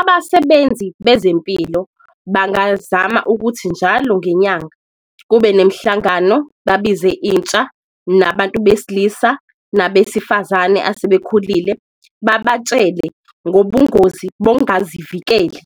Abasebenzi bezempilo bangazama ukuthi njalo ngenyanga kube nemhlangano babize intsha, nabantu besilisa nabesifazane asebekhulile babatshele ngobungozi bongazivikeli.